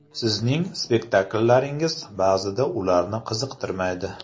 Sizning spektakllaringiz ba’zida ularni qiziqtirmaydi.